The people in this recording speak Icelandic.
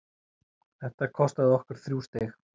Þetta kostaði okkur þrjú stig.